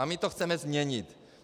A my to chceme změnit.